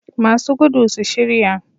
Masu gudu su shirya.